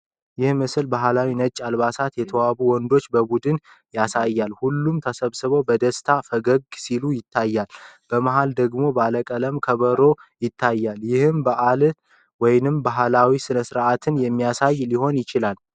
ይህ ምስል በባህላዊ ነጭ አልባሳት የተዋቡ የወንዶች ቡድንን ያሳያል። ሁሉም ተሰብስበው በደስታ ፈገግ ሲሉ ይታያል፤ በመሃል ደግሞ ባለቀለም ከበሮ ይታያል። ይህ በዓልን ወይም ባህላዊ ሥነ-ሥርዓትን የሚያሳይ ሊሆን ይችላል።